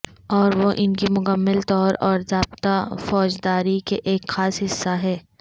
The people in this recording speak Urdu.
اور وہ ان کی مکمل طور اور ضابطہ فوجداری کے ایک خاص حصہ ہیں